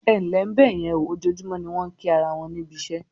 "Ẹǹlẹ́ bẹ̀yẹn", ojoojúmọ́ ni wọ́n ń kí ara won níbi iṣẹ́